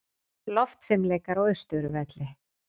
Loftfimleikar á Austurvelli